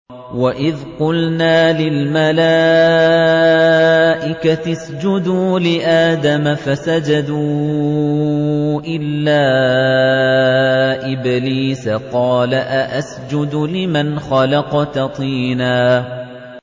وَإِذْ قُلْنَا لِلْمَلَائِكَةِ اسْجُدُوا لِآدَمَ فَسَجَدُوا إِلَّا إِبْلِيسَ قَالَ أَأَسْجُدُ لِمَنْ خَلَقْتَ طِينًا